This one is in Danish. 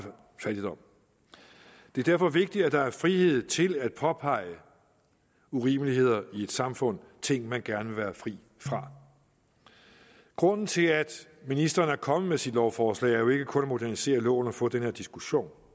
fattigdom det er derfor vigtigt at der er frihed til at påpege urimeligheder i et samfund ting man gerne vil være fri fra grunden til at ministeren er kommet med sit lovforslag er jo ikke kun at modernisere loven og få den her diskussion